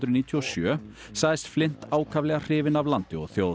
níutíu og sjö sagðist ákaflega hrifinn af landi og þjóð